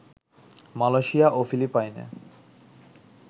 Malaysia ও ফিলিপাইনে